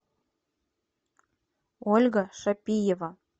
ольга шапиева